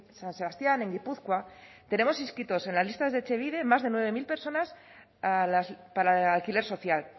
san sebastián en guipúzcoa tenemos inscritos en las listas de etxebide más de nueve mil personas para alquiler social